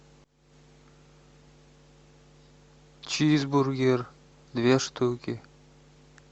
чизбургер две штуки